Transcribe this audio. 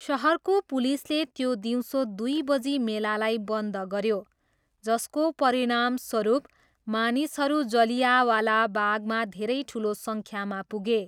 सहरको पुलिसले त्यो दिउँसो दुई बजी मेलालाई बन्द गऱ्यो, जसको परिणामस्वरूप मानिसहरू जलियावाला बागमा धेरै ठुलो सङ्ख्यामा पुगे।